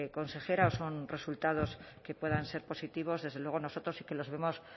consejera o son resultados que puedan ser positivos desde luego nosotros sí que los vemos